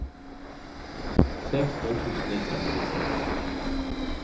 sexton tusen etthundrafyrtiosex